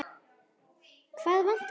Hvað vantar þig?